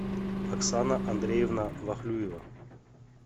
оксана андреевна вахлюева